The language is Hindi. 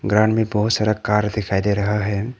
ग्राउंड बहुत सारा कार दिखाई दे रहा है।